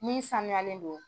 Min sanuyalen don.